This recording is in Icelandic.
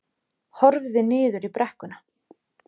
Horfði niður í brekkuna.